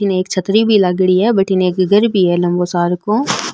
एठने एक छतरी भी लागेड़ी है बठीने एक घर भी है लम्बो सारको --